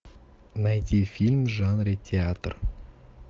найти фильм в жанре театр